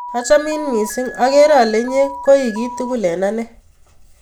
Achamin missing', akere ale inye koi kitugul eng' ane